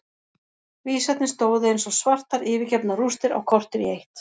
Vísarnir stóðu eins og svartar yfirgefnar rústir á kortér í eitt.